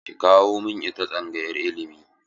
Ki kawo min ita tsangayar ilimi!